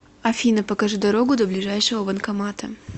афина покажи дорогу до ближайшего банкомата